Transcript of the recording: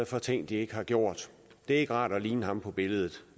for ting de ikke har gjort det er ikke rart at ligne ham på billedet